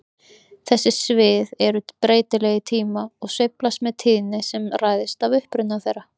Þessi svið eru breytileg í tíma og sveiflast með tíðni sem ræðst af uppruna þeirra.